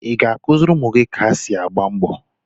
Ị̀ ga-akụziri ụmụ gị ka esi agba mbọ?